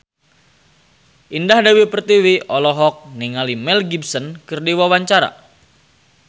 Indah Dewi Pertiwi olohok ningali Mel Gibson keur diwawancara